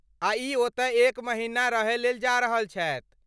आ ई ओतय एक महिना रहयलेल जा रहल छथि।